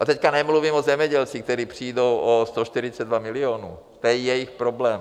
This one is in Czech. A teď nemluvím o zemědělcích, kteří přijdou o 142 milionů, to je jejich problém.